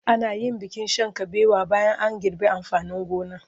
Ana yin bikin shan kabewa bayan an girbe amfanin gona.